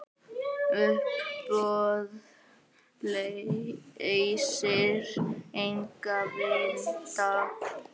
Uppboð leysir engan vanda.